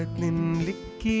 liggja í